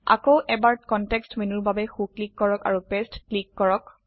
আকৌ এবাৰ কনটেক্সট মেনুৰ বাবে সো ক্লিক কৰক আৰু পাঁচতে ক্লিক কৰক